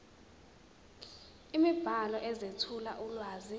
imibhalo ezethula ulwazi